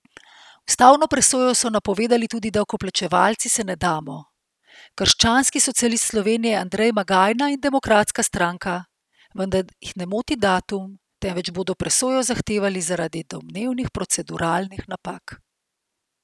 Ustavno presojo so napovedali tudi Davkoplačevalci se ne damo, krščanski socialist Slovenije Andrej Magajna in Demokratska stranka, vendar jih ne moti datum, temveč bodo presojo zahtevali zaradi domnevnih proceduralnih napak.